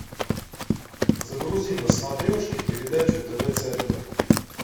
загрузи на смотрешке передачу тв центр